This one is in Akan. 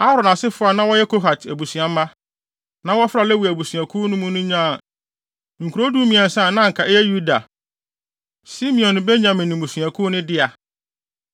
Aaron asefo a na wɔyɛ Kohat abusuamma, na wɔfra Lewi abusuakuw mu no nyaa nkurow dumiɛnsa a na anka ɛyɛ Yuda, Simeon ne Benyamin mmusuakuw no dea.